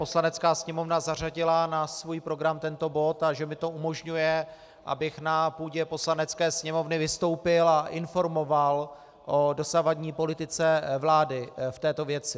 Poslanecká sněmovna zařadila na svůj program tento bod a že mi to umožňuje, abych na půdě Poslanecké sněmovny vystoupil a informoval o dosavadní politice vlády v této věci.